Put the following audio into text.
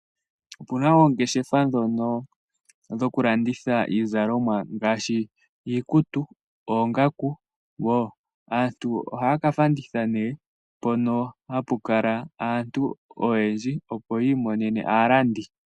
Opuna oongeshefa dhono , dhoku landitha iizalomwa ngaashi iikutu, oongaku woo. Aantu oha ya ka fadhitha nee mpono hapu kala aantu oyendji, opo yiimonene aalandi.